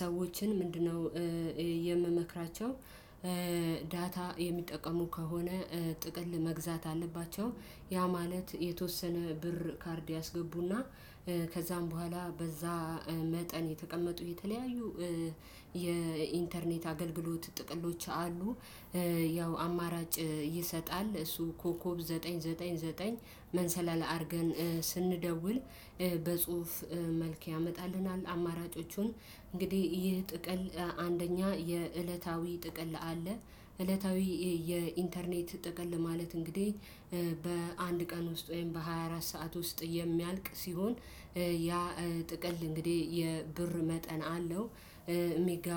ሰዎችን ምንድን ነው? የምመክራቸው ዳታ የሚጠቀሙ ከሆነ ጥቅል መግዛት አለባቸው። ያ ማለት የተወሰነ ብር ካርድ ያስገቡና ከዛም በኋላ በዛ መጠን የተቀመጡ የተለያዩ የኢንተርኔት አገልግሎት ጥቅሎች አሉ። ያው አማራጭ ይሰጣል እሱ ኮኮብ ዘጠኝ ዘጠኝ ዘጠኝ መሰላል አርገን ስንደውል በጹሁፍ መልክ ያመጣልናል አማራጮቹን እንግዲህ ይህ ጥቅል አንደኛ የእለታዊ ጥቅል አለ። እለታዊ የኢንተርኔት ጥቅል ለማለት እንግዲህ በአንድ ቀን ውስጥ ወይም በሃያ አራት ሰዓት ውስጥ የሚያልቅ ሲሆን ያ ጥቅል እንግዲህ የብር መጠን አለው። እሜጋ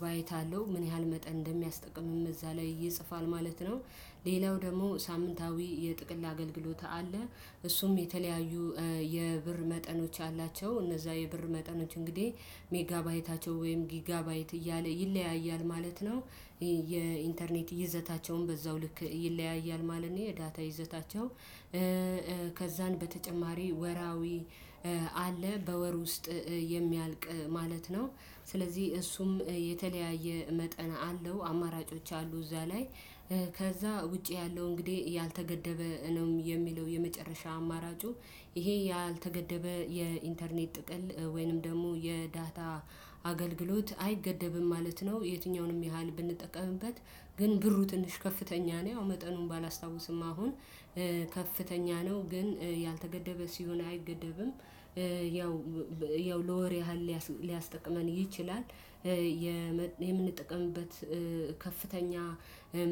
ባይት አለው ምን ያህል መጠን እንደሚያስጠቅምም እዛ ላይ ይጽፋል ማለት ነው። ሌላው ደግሞ ሳምንታዊ የጥቅል አገልግሎት አለ። እሱም የተለያዩ የብር መጠኖች አላቸው እነዛ የብር መጠኖች እንግዲህ ሜጋባይታቸው ወይም ጊጋባይት እያለ ይለያያል ማለት ነው። የኢንተርኔት ይዘታቸውን በዛው ልክ ይለያያል ማለት ነው የዳታ ይዘታቸው። በተጨማሪ ወራዊ አለ በወር ውስጥ የሚያልቅ ማለት ነው። ስለዚህ እሱም የተለያየ መጠን አለው አማራጮች አሉ እዛ ላይ። ከዛ ውጪ ያለው እንግዲህ ያልተገደበ ነው የሚለው የመጨረሻ አማራጩ ይሄ ያልተገደበ የኢንተርኔት ጥቅል ወይንም ደግሞ የዳታ አገልግሎት አይገደብም ማለት ነው። የትኛውንም ያህል ብንጠቀምበት ግን ብሩ ትንሽ ከፍተኛ ነው መጠኑን ባላስታውስም አሁን ከፍተኛ ነው ግን ያልተገደበ ሲሆን አይገደብም ያው ያው ለወር ያህል ሊያስጠቅመን ይችላል። የምንጠቀምበት ከፍተኛ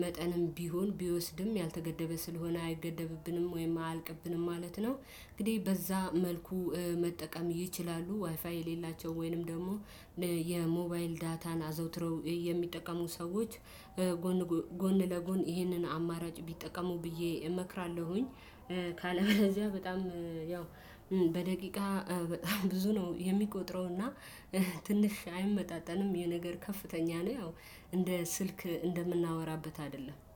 መጠንም ቢሆን ቢወስድም ያልተገደበ ስለሆነ አይገደብብንም ወይም አልቅብንም ማለት ነው። እንግዲህ በዛ መልኩ መጠቀም ይችላሉ ዋይፋይ የሌላቸው ወይንም ደግሞ የሞባይል ዳታን አዘውትረው የሚጠቀሙ ሰዎች። ጎን ጎን ለጎን ይህንን አማራጭ ቢጠቀሙ ብዬ እመክራለሁኝ። ካለበለዚያ በጣም ያው በደቂቃ በጣም ብዙ ነው የሚቆጥረው እና ትንሽ አይመጣጠንም ይኽ የነገር ከፍተኛ ነው ያው እንደ ስልክ እንደምናወራበት አይደለም